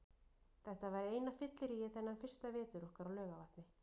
Þetta var eina fylliríið þennan fyrsta vetur okkar á Laugarvatni.